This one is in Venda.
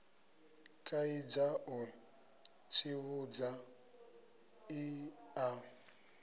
kaidza u tsivhudza i a